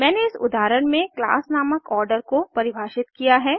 मैंने इस उदाहरण में क्लास नामक आर्डर को परिभाषित किया है